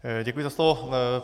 Děkuji za slovo.